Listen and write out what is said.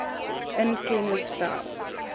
in kennis stel